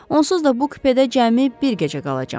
Onsuz da bu kupədə cəmi bir gecə qalacam.